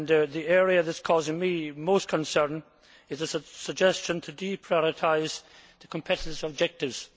The area that is causing me most concern is the suggestion to deprioritise the competitiveness objectives.